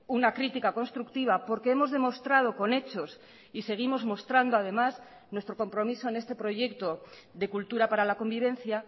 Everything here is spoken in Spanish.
una crítica constructiva porque hemos demostrado con hechos y seguimos mostrando además nuestro compromiso en este proyecto de cultura para la convivencia